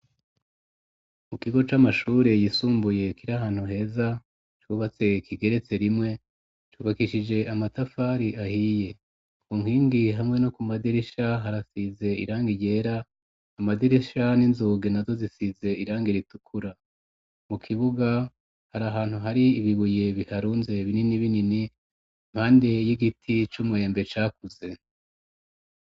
mu kigo c'amashure yisumbuye kiri ahantu heza cubatse kigeretse rimwe cubakishije amatafari ahiye ku nkingi hamwe no ku madirisha harasize iranga ryera amadirisha n'inzuge nazo zisize iranga iritukura mu kibuga hari ahantu hari ibibuye biharunze binini binini impande y'igiti c'umumwembe cakuze.